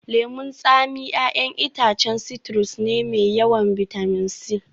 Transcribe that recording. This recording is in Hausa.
Lemun tsami 'ya'yan itacen citrus ne mai yawan bitamin C